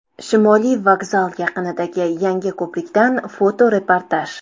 Shimoliy vokzal yaqinidagi yangi ko‘prikdan fotoreportaj.